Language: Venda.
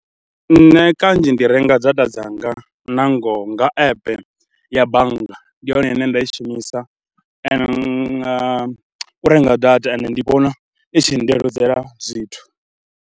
Nṋe kanzhi ndi renga data dzanga nangoho nga epe ya bannga, ndi yone ine nda i shumisa u nga renga data ende ndi vhona i tshi ndeludzela zwithu.